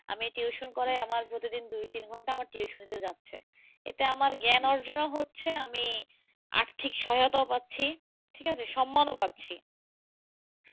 আমি tuition করাই, আমার প্রতিদিন দুই তিন ঘন্টা আমার tuition তে যাচ্ছে। এতে আমার জ্ঞান অর্জন ও হচ্ছে আমি আর্থিক সহায়তাও পাচ্ছি, ঠিক আছে, সম্মান ও পাচ্ছি।